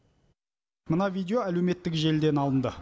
мына видео әлеуметтік желіден алынды